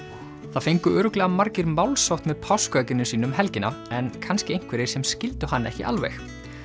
það fengu örugglega margir málshátt með páskaegginu sínu um helgina en kannski einhverjir sem skildu hann ekki alveg